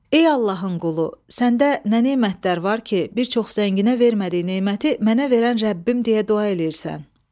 Ey Allahın qulu, səndə nə nemətlər var ki, bir çox zənginə vermədiyi neməti mənə verən Rəbbim deyə dua eləyirsən?